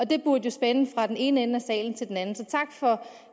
det burde jo spænde fra den ene ende af salen til den anden så tak for